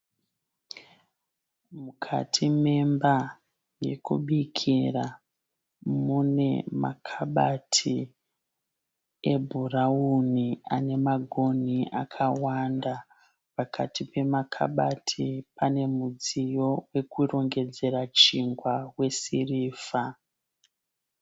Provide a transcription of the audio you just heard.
Mukati memba yekubikira mune makabati ebhurauni ane magonhi akawanda. Pakati pemakabati pane mudziyo wokurongedzera chingwa wesirivha.